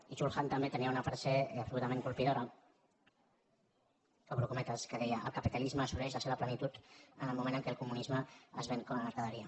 i chul han també tenia una frase absolutament colpidora obro cometes que deia el capitalisme assoleix la seva plenitud en el moment en què el comunisme es ven com a mercaderia